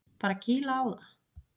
Bara kýla á það!